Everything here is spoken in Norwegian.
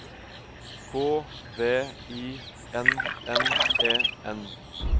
K V I N N E N